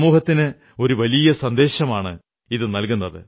സമൂഹത്തിന് ഒരു വലിയ സന്ദേശമാണിതു നല്കുന്നത്